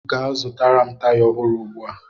Gaa zụtara m taya ọhụrụ ugbu a!